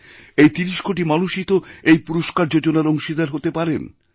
এই ৩০ কোটি মানুষইতো এইপুরস্কার যোজনার অংশীদার হতে পারেন